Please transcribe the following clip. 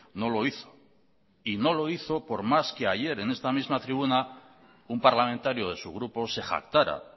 no lo hizo no lo hizo por más que ayer en esta misma tribuna un parlamentario de su grupo se jactara